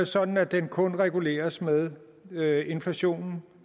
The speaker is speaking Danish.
sådan at den kun reguleres med med inflationen